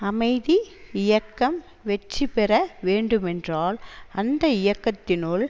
அமைதி இயக்கம் வெற்றி பெற வேண்டுமென்றால் அந்த இயக்கத்தினுள்